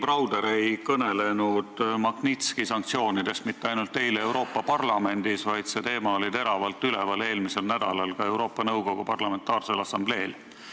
Bill Browder ei kõnelenud nn Magnitski sanktsioonidest mitte ainult eile Euroopa Parlamendis, vaid see teema oli teravalt üleval eelmisel nädalal ka Euroopa Nõukogu Parlamentaarsel Assambleel.